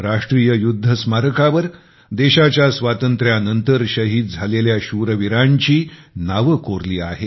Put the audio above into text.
राष्ट्रीय युद्ध स्मारकावर देशाच्या स्वातंत्र्यानंतर शहीद झालेल्या शूरवीरांची नावे कोरलेली आहेत